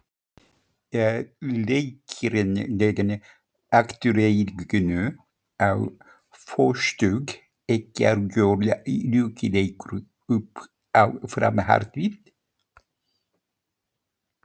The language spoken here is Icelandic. Er leikurinn gegn Aftureldingu á föstudag ekki algjör lykilleikur upp á framhaldið?